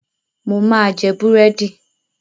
Mo máa jẹ búrẹ́dì.